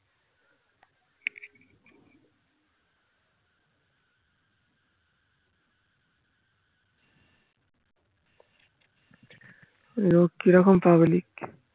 যাইহোক কিরকম public